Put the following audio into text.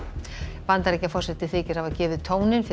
Bandaríkjaforseti þykir hafa gefið tóninn fyrir